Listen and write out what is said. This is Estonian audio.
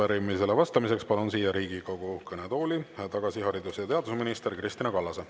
Arupärimisele vastamiseks palun siia Riigikogu kõnetooli tagasi haridus- ja teadusminister Kristina Kallase.